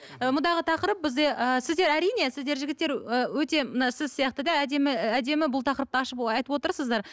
ы мұндағы тақырып бізде ы сіздер әрине сіздер жігіттер ы өте мына сіз сияқты да әдемі бұл тақырыпты ашып айтып отырсыздар